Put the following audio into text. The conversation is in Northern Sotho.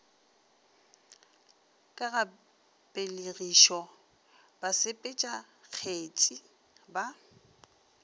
ka ga pelegišo basepetšakgetsi ba